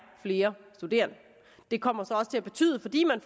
flere studerende det kommer så også til at betyde fordi man